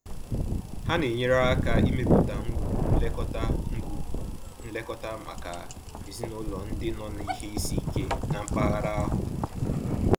Ha na-enyere aka ịmepụta ngwugwu nlekọta ngwugwu nlekọta maka ezinaụlọ ndị nọ n'ihe isi ike na mpaghara ahụ.